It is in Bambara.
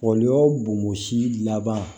Wali o bomosi laban